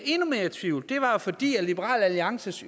endnu mere i tvivl fordi liberal alliances